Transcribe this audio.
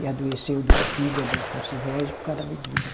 E adoeceu do fígado com cirrose por causa da bebida.